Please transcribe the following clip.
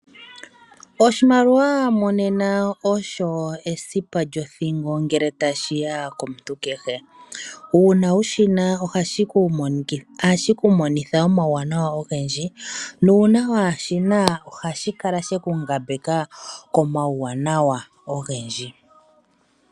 Oshimaliwa monena osho esipa lyothingo nele tashiya komuntu kehe. Uuna wushina ohashi kumonitha omauwanawa ogendji, nongele kushina otashi kungambeke komauwanawa ogendji.